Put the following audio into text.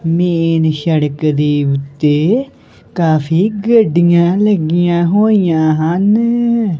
Main ਸੜਕ ਦੀ ਉੱਤੇ ਕਾਫੀ ਗੱਡੀਆਂ ਲੱਗੀਆਂ ਹੋਈਆਂ ਹਨ।